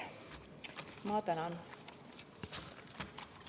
Ma tänan!